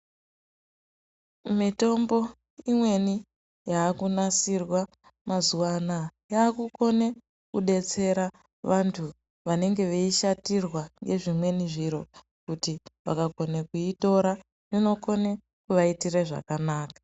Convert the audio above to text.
Mitombo imweni yakunasirwa mazuwaana yakukone kudetsera vantu vanenge veishatirwa ngezvimweni zviro kuti vakakone kuitora inokone kuvaitire zvakanaka.